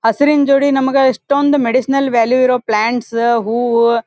ಹಸುರಿನ್ ಜೋಡಿ ನಮಗ ಇಷ್ಟೊಂದು ಮೆಡಿಸನಲ್ ವ್ಯಾಲ್ಯೂ ಇರೋ ಪ್ಲಾಂಟ್ಸ ಹೂವ --